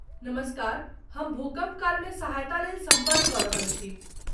नमस्कार, हम भूकम्प कालमे सहायतालेल सम्पर्क कऽ रहल छी।